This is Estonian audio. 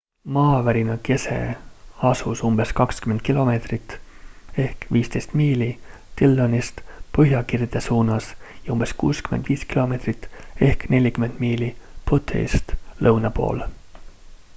maavärina kese asus umbes 20 km 15 miili dillonist põhjakirde suunas ja umbes 65 km 40 miili butte’ist lõuna pool